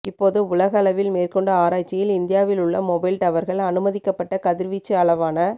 இப்போது உலக அளவில் மேற்கொண்ட ஆராய்ச்சியில் இந்தியாவில் உள்ள மொபைல் டவர்கள் அனுமதிக்க பட்ட கதிர்வீச்சு அளவான